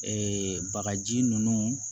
bagaji ninnu